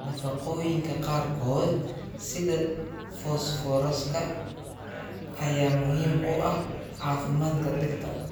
Nafaqooyinka qaarkood, sida fosfooraska, ayaa muhiim u ah caafimaadka dhirta.